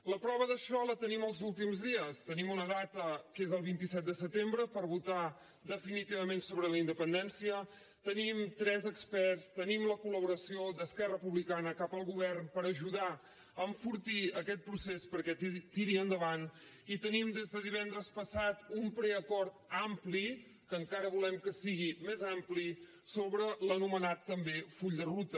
la prova d’això la tenim els últims dies tenim una data que és el vint set de setembre per votar definitivament sobre la independència tenim tres experts tenim la collaboració d’esquerra republicana cap al govern per ajudar a enfortir aquest procés perquè tiri endavant i tenim des de divendres passat un preacord ampli que encara volem que sigui més ampli sobre l’anomenat també full de ruta